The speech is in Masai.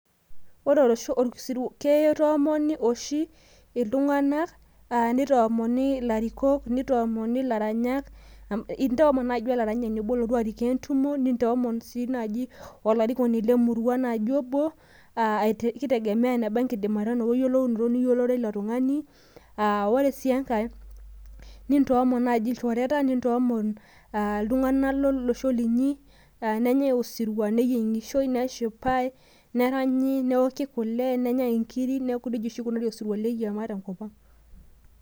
ore oshi osirwua naa kitomoni oshi iltung'anak nitoomoni ilarikok ,nitoomoni ilaranyak, nintomon naaji olaranyani obo orikoo entumo, nintoomon sii naaji olarikoni obo lemurua kitegemeya enebe eyilounoto ni yiolororo weilo tung'ani , ore sii enkae nintoomon naaji ilchoreta ,nintoomon itung'anak lolosho linyi , nenyae osirua neyieng'ishoi neshipae, neranyi neoki kule nenyae inkiri neaku nejia oshi ekunari osirua lekiama te nkop ang'.